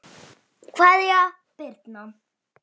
Kveðja, Birna.